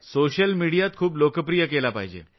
social मीडियात खूप लोकप्रिय केला पाहिजे